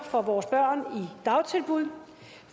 for vores børn i dagtilbud